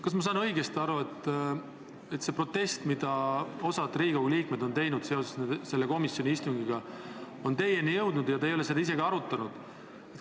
Kas ma saan õigesti aru, et see protest, mille osa Riigikogu liikmeid on seoses komisjoni istungiga teinud, on teieni jõudnud ja te ei ole seda arutanud?